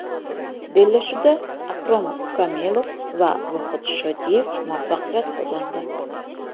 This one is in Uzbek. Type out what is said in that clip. Bellashuvda Akrom Komilov va Vohid Shodiyev muvaffaqiyat qozondi.